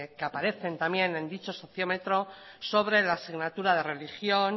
que aparecen también en dicho sociómetro sobre la asignatura de religión